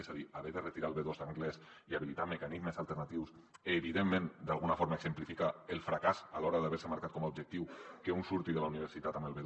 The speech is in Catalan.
és a dir haver de retirar el b2 d’anglès i habilitar mecanismes alternatius evidentment d’alguna forma exemplifica el fracàs a l’hora d’haver se marcat com a objectiu que un surti de la universitat amb el b2